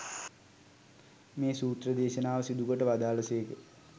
මේ සූත්‍ර දේශනාව සිදුකොට වදාළ සේක.